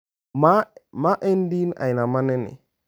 "Ma en din aina mane ni?